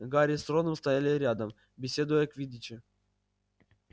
гарри с роном стояли рядом беседуя о квиддиче